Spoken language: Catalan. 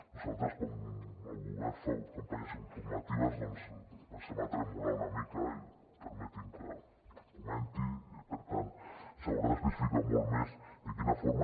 nosaltres quan el govern fa campanyes informatives comencem a tremolar una mica i permetin me que ho comenti i per tant s’haurà d’especificar molt més de quina forma